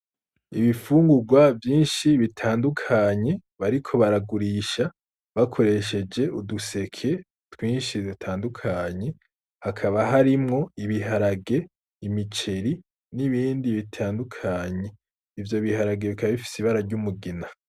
Ibifunguwa vyinshi bitandukanye bariko baragurisha bakoresheje uduseke twinshi dutandukanye; hakaba harimwo ibiharage, imiceri n'ibindi bitandukanye. Ivyo biharage bikaba bifise ibara ry'umugina.